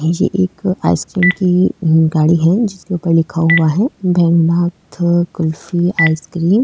ये एक ice cream की गाड़ी है जिसके ऊपर लिखा हुआ है भैरुनाथ कुल्फी आइस क्रीम ।